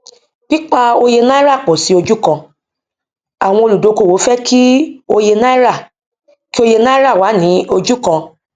pípa òye náírà pọ sí ojú kan àwọn olúdókòwò fẹ kí òye náírà kí òye náírà wá ní ojú kan